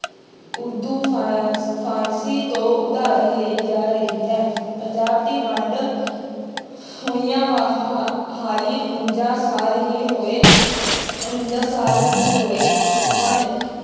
ਉਰਦੂ ਫਾ~ ਫ਼ਾਰਸ਼ੀ ਤੋਂ ਉਧਾਰੀ ਲਈ ਜਾ ਰਹੀ ਹੈ, ਪੰਜਾਬ ਦੀ ਵੰਡ ਹੋਈਆਂ ਹਾਲੇ ਉਣੰਜਾ ਸਾਲ ਹੀ ਹੋਏ, ਉਣੰਜਾ ਸਾਲ ਹੀ ਹੋਏ ਹਨ।